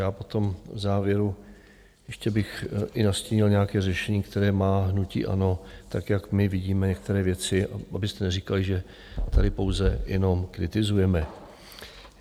Já potom v závěru ještě bych i nastínil nějaké řešení, které má hnutí ANO, tak jak my vidíme některé věci, abyste neříkali, že tady pouze jenom kritizujeme.